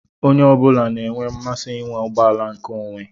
Onye ọ bụla n'enwe mmasị inwe ụgbọala nke onwé.